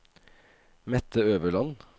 Mette Øverland